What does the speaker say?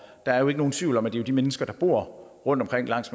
er jo ikke nogen tvivl om at det er de mennesker der bor rundtomkring langs